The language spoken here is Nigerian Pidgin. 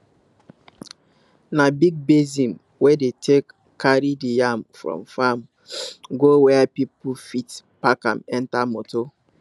na big basin we dey take carry the yam from farm go where people fit pack am enter motor